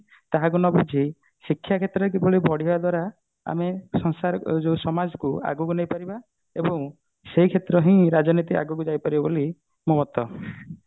ତାହାକୁ ନବୁଝି ଶିକ୍ଷା କ୍ଷେତ୍ରରେ କିଭଳି ବଢିବା ଦ୍ଵାରା ଆମେ ସଂସାର ଏ ଯୋଉ ସମାଜକୁ ଆଗକୁ ନେଇ ପାରିବା ଏବଂ ସେଇ କ୍ଷେତ୍ର ହିଁ ରାଜନୀତି ଆଗକୁ ଯାଇପାରିବ ବୋଲି ମୋ ମତ